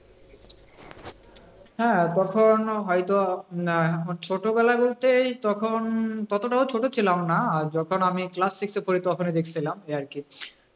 হ্যাঁ তখন হয়তো আহ ছোটবেলা বলতে এই তখন ততটাও ছোট ছিলাম না, যখন আমি class six এ পড়ি তখনই দেখেছিলাম এই আর কি